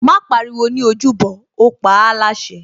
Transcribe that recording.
Má pariwo ní ojúbọ, ó paáláṣẹ